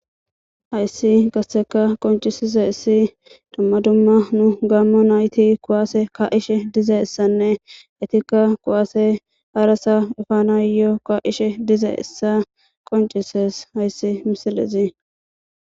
Hayssi gasseka qoncisizayssi dumma dumma nu gaammo nayti kuwaase ka'ishe dizayssanne eetikka kuwaase harasa efanayo ka'ishe dizayssa qoncises hayssi misilezi.